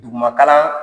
Duguma kalan